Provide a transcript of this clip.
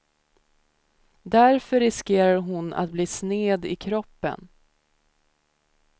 Därför riskerade hon att bli sned i kroppen.